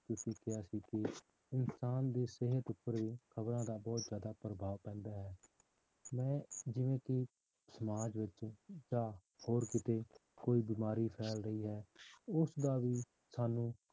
ਕਿ ਇਨਸਾਨ ਦੀ ਸਿਹਤ ਉੱਪਰ ਵੀ ਖ਼ਬਰਾਂ ਦਾ ਬਹੁਤ ਜ਼ਿਆਦਾ ਪ੍ਰਭਾਵ ਪੈਂਦਾ ਹੈ ਮੈਂ ਜਿਵੇਂ ਕਿ ਸਮਾਜ ਵਿੱਚ ਜਾਂ ਹੋਰ ਕਿਤੇ ਕੋਈ ਬਿਮਾਰੀ ਫੈਲ ਰਹੀ ਹੈ ਉਸਦਾ ਵੀ ਸਾਨੂੰ